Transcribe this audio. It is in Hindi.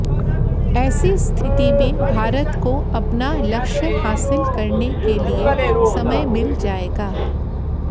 ऐसी स्थिति में भारत को अपना लक्ष्य हासिल करने के लिए समय मिल जाएगा